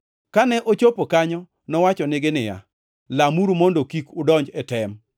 Kane ochopo kanyo, nowachonegi niya, “Lamuru mondo kik udonj e tem.”